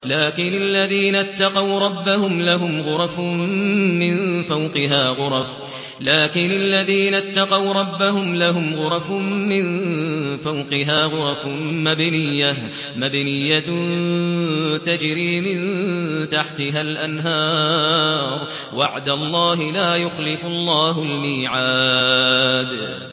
لَٰكِنِ الَّذِينَ اتَّقَوْا رَبَّهُمْ لَهُمْ غُرَفٌ مِّن فَوْقِهَا غُرَفٌ مَّبْنِيَّةٌ تَجْرِي مِن تَحْتِهَا الْأَنْهَارُ ۖ وَعْدَ اللَّهِ ۖ لَا يُخْلِفُ اللَّهُ الْمِيعَادَ